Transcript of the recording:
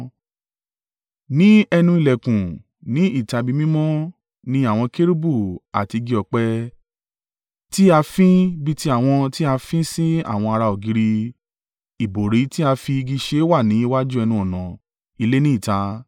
Ní ẹnu ìlẹ̀kùn ní ìta ibi mímọ́ ni àwọn kérúbù àti igi ọ̀pẹ tí a fín bí ti àwọn tí a fín si àwọn ara ògiri, ìbòrí tí á fi igi ṣe wà ní iwájú ẹnu-ọ̀nà ilé ní ìta.